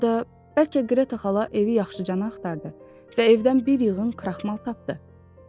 Ya da bəlkə Qreta xala evi yaxşıcana axtardı və evdən bir yığın kraxmal tapdı.